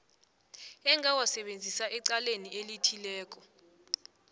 engawasebenzisa ecaleni elithileko